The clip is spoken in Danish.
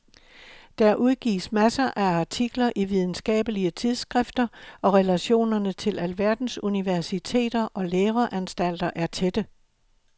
Der udgives masser af artikler i videnskabelige tidsskrifter og relationerne til alverdens universiteter og læreanstalter er tætte.